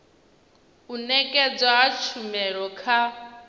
u nekedzwa ha tshumelo kha